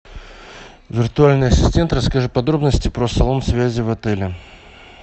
виртуальный ассистент расскажи подробности про салон связи в отеле